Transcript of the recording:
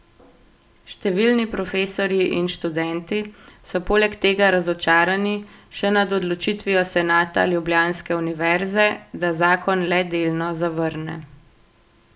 Številni profesorji in študenti so poleg tega razočarani še nad odločitvijo senata ljubljanske univerze, da zakon le delno zavrne.